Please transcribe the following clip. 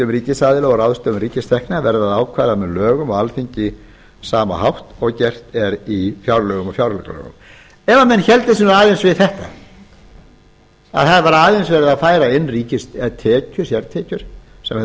fjárheimildum ríkisaðila og ráðstöfun ríkistekna verður að ákvarða með lögum á alþingi á sama hátt og gert er í fjárlögum og fjáraukalögum ef menn héldu sig aðeins við þetta að það væri aðeins verið að færa inn sértekjur sem hefðu